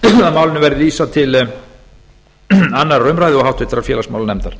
verði vísað til annarrar umræðu og háttvirtur félagsmálanefndar